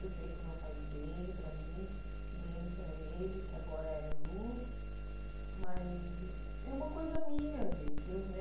Eu sei que não faz bem para mim, nem para ele, que agora é luz, mas é uma coisa minha, gente. Eu eh